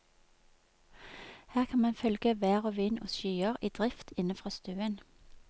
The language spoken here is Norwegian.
Her kan man følge vær og vind og skyer i drift inne fra stuen.